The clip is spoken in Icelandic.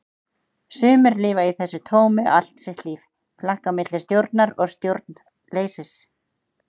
Sumir lifa í þessu tómi allt sitt líf, flakka á milli stjórnar og stjórnleysis.